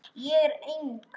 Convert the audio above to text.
Ég er eng